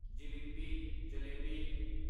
ਜਿਲੀਪੀ jalebi